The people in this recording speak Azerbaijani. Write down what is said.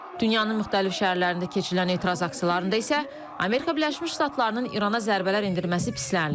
Dünyanın müxtəlif şəhərlərində keçirilən etiraz aksiyalarında isə Amerika Birləşmiş Ştatlarının İrana zərbələr endirməsi pislənilib.